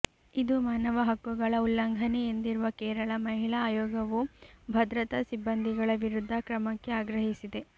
ಇದು ಮಾನವ ಹಕ್ಕುಗಳ ಉಲ್ಲಂಘನೆ ಎಂದಿರುವ ಕೇರಳ ಮಹಿಳಾ ಆಯೋಗವು ಭದ್ರತಾ ಸಿಬ್ಬಂದಿಗಳ ವಿರುದ್ಧ ಕ್ರಮಕ್ಕೆ ಆಗ್ರಹಿಸಿದೆ